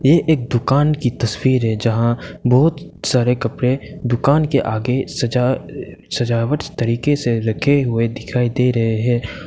ये एक दुकान की तस्वीर है जहां बहुत सारे कपड़े दुकान के आगे सजा सजावट तरीके से रखे हुए दिखाई दे रहे हैं।